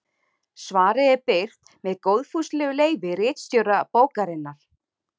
Svarið er birt með góðfúslegu leyfi ritstjóra bókarinnar.